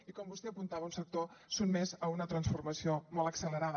i com vostè apuntava un sector sotmès a una transformació molt accelerada